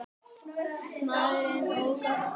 Maðurinn ók af stað.